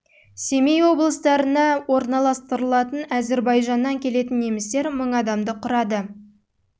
семей облыстарында орналастырылды әзірбайжан келетін немістер адамды құрады олар ақмола қостанай қарағанды солтүстік қазақстан